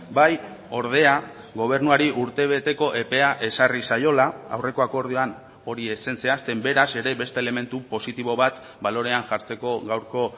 bai ordea gobernuari urtebeteko epea ezarri zaiola aurreko akordioan hori ez zen zehazten beraz ere beste elementu positibo bat balorean jartzeko gaurko